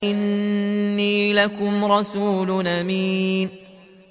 إِنِّي لَكُمْ رَسُولٌ أَمِينٌ